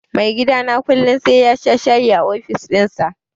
Maigidana kullum sai yasha shayi a ofis ɗinsa.